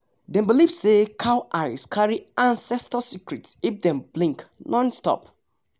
dem believe say cow eyes carry ancestors secret if dem blink nonstop